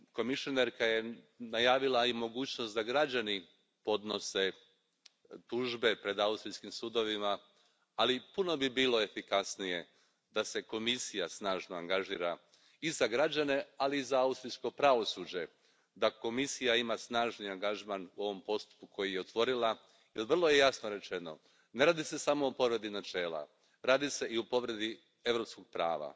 Povjerenica je najavila i mogućnost da građani podnose tužbe pred austrijskim sudovima, ali puno bi bilo efikasnije da se Komisija snažno angažira, i za građane, ali i za austrijsko pravosuđe, da Komisija ima snažni angažman u ovom postupku koji je otvorila jer vrlo jasno je rečeno ne radi se samo o povredi načela, radi se i o povredi europskog prava,